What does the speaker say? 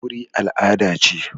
Aure al'ada ce.